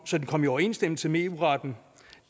så den kom i overensstemmelse med eu retten